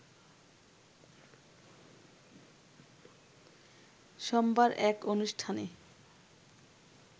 সোমবার এক অনুষ্ঠানে